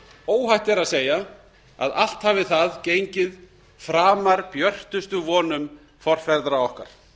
óhætt er að segja að allt hafi það gengið framar björtustu vonum forfeðra okkar